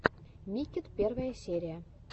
миккет первая серия